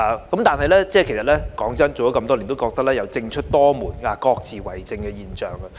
老實說，做了地區工作這麼多年，我覺得有"政出多門，各自為政"的現象。